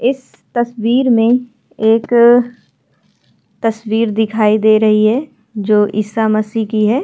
इस तस्वीर में एक तस्वीर दिखाई दे रही है जो ईसा मसीह की है।